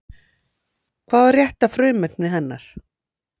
Hvað var rétta frumefnið hennar?